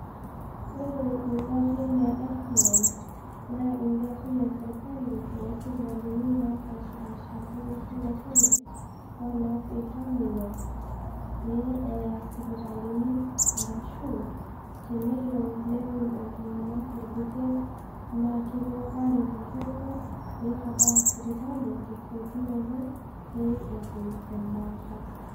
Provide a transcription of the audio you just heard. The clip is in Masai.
ore ingarin e ambulance naa ing'arin esirkali osipitalini napashipasha olosho le kenya onaap iltamoyiaa aya sipitalini ashu enelo netum iltung'anak olbuket naa kepuo aret iltungának peitabaya sipitali tesiokunoto petuum embata